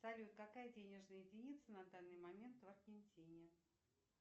салют какая денежная единица на данный момент в аргентине